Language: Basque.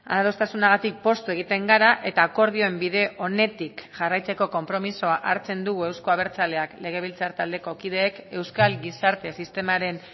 adostasunagatik poztu egiten gara eta akordioen bide onetik jarraitzeko konpromisoa hartzen dugu euzko abertzaleak legebiltzar taldeko kideek euskal gizarte sistemaren